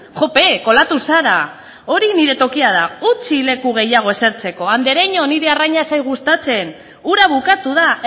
jope kolatu zara hori nire tokia da utzi leku gehiago esertzeko andereño niri arraina ez zait gustatzen ura bukatu da